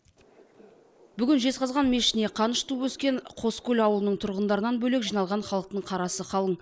бүгін жезқазған мешітіне қаныш туып өскен қоскөл ауылының тұрғындарынан бөлек жиналған халықтың қарасы қалың